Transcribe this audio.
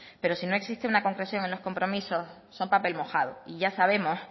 pero si no existe una concreción en los compromisos son papel mojado y ya sabemos